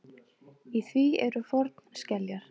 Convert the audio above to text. Í því eru fornskeljar.